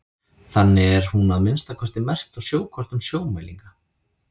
þannig er hún að minnsta kosti merkt á sjókortum sjómælinga